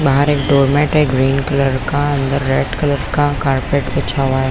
बाहर एक डोरमेट है ग्रीन कलर का अंदर रेड कलर का कारपेट बिछा हुआ है।